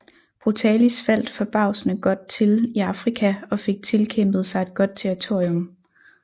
Brutalis faldt forbavsende godt til i Afrika og fik tilkæmpet sig et godt territorium